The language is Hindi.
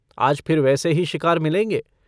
आज फिर वैसे ही शिकार मिलेंगे।